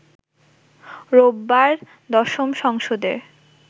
রোববার ১০ম সংসদের